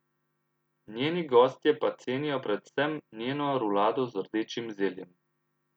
Njeni gostje pa cenijo predvsem njeno rulado z rdečim zeljem.